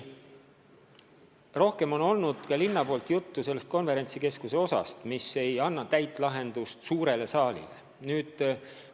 Samas on ka linna poolt juttu olnud sellest, et täit lahendust suurele saalile seni ei ole.